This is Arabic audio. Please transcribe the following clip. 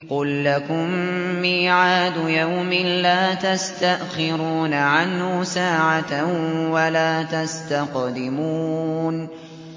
قُل لَّكُم مِّيعَادُ يَوْمٍ لَّا تَسْتَأْخِرُونَ عَنْهُ سَاعَةً وَلَا تَسْتَقْدِمُونَ